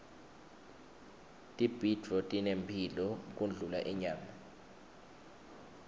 tibhidvo tinemphilo kundlula inyama